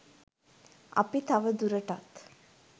අපි තවදුරටත්